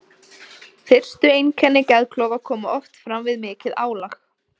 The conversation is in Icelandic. Fyrstu einkenni geðklofa koma oft fram við mikið álag.